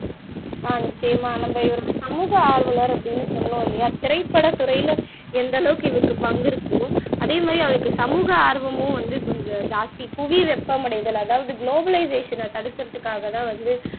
அஹ் நிச்சயமா நம்ப இவர சமூக ஆர்வலர் அப்படின்னு சொன்னோம் இல்லையா திரைப்படத்துறையில எந்த அளவுக்கு இவருக்கு பங்கு இருக்கோ அதே மாதிரி அவருக்கு சமூக ஆர்வமும் வந்து கொஞ்சம் ஜாஸ்தி புவி வெப்பமடைதல் அதாவது க்ளோபலைசேஷன தடுக்கறதுக்காகதான் வந்து